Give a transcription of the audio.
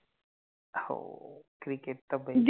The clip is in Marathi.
हो, Cricket त पहिले